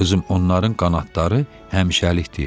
Qızım, onların qanadları həmişəlik deyil.